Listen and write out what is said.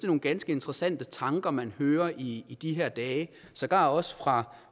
nogle ganske interessante tanker man hører i de her dage sågar også fra